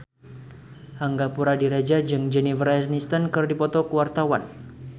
Angga Puradiredja jeung Jennifer Aniston keur dipoto ku wartawan